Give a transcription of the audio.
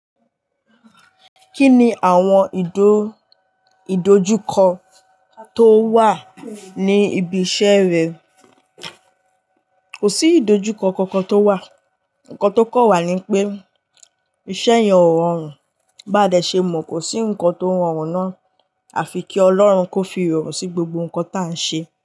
Ki ni àwọn ìdojúkọ tó wà ní ibi iṣẹ́ rẹ. Kò sí ìdojúkọ kankan tó wà. Ǹkan tó kan wà ní pé iṣẹ́ yẹn o rọrùn. Bá dẹ̀ ṣe mọ̀, kò sí nǹkan tó rọrùn náà àfi kí Ọlọ́run kó fi ìrọ̀rùn sí gbogbo nǹkan tá a ń ṣe.